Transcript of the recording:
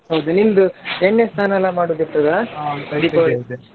ಹೌದ್ ನಿಮ್ದು ಎಣ್ಣೆ ಸ್ನಾನ ಎಲ್ಲಾ ಮಾಡುದು ಇರ್ತದ? .